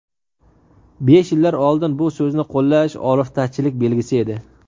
Besh yillar oldin bu so‘zni qo‘llash oliftachilik belgisi edi.